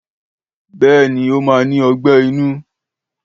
Béèni, ó ní ogbé inú